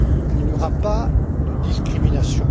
Il n'y aura pas de discrimination.